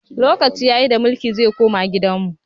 Lokaci ya yi da mulki zai koma gidan mu!